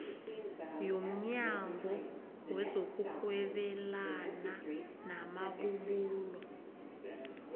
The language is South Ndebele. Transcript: yomnyango wezokurhwebelana namabubulo